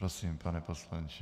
Prosím, pane poslanče.